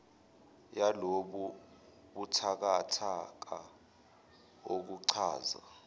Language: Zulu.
yalobu buthakathaka okuchaza